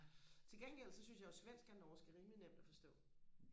til gengæld så synes jeg jo at svensk og norsk er rimelig nemt og forstå